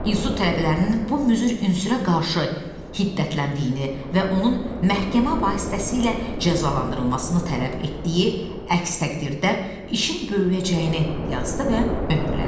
İnsut tələbələrinin bu müzür ünsürə qarşı hiddətləndiyini və onun məhkəmə vasitəsilə cəzalandırılmasını tələb etdiyi əks təqdirdə işin böyüyəcəyini yazdı və möhürlədi.